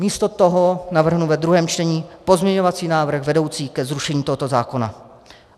Místo toho navrhnu ve druhém čtení pozměňovací návrh vedoucí ke zrušení tohoto zákona.